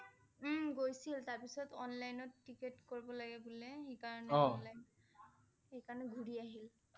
উম গৈছিল তাৰ পিছত অনলাইনত টিকট কৰিব লাগে বুলে। সেইকাৰণে সেইকাৰণে ঘূৰি আহিলে